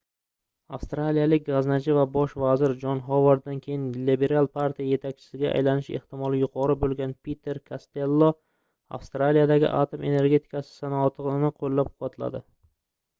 avstraliyalik gʻaznachi va bosh vazir jon hovarddan keyin lebiral partiya yetakchisiga aylanish ehtimoli yuqori boʻlgan piter kastello avstraliyadagi atom energetikasi sanoatini qoʻllab-quvvatladi